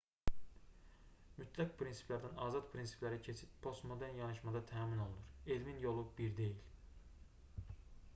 mütləq prinsiplərdən azad prinsiplərə keçid postmodern yanaşmada təmin olunur elmin yolu bir deyil